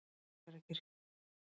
Siglufjarðarkirkju